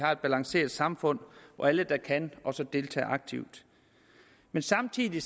afbalanceret samfund hvor alle der kan også deltager aktivt men samtidig